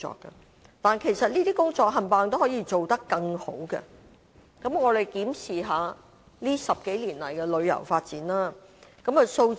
然而，這些工作全都可以做得更好，我們檢視一下近10多年來的旅遊發展。